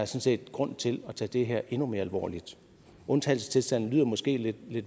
set grund til at tage det her endnu mere alvorligt undtagelsestilstand lyder måske lidt